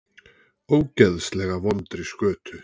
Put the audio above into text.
Ógeðslega vondri skötu.